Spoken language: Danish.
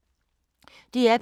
DR P2